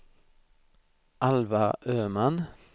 Alva Öman